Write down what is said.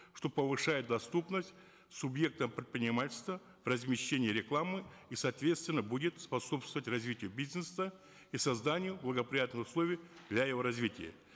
что повышает доступность субъектам предпринимательства по размещению рекламы и соответственно будет способствовать развитию бизнеса и созданию благоприятных условий для его развития